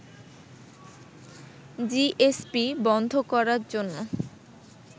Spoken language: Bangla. জিএসপি বন্ধ করার জন্য